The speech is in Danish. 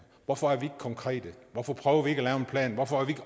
hvorfor er vi ikke konkrete hvorfor prøver vi ikke at lave en plan hvorfor er vi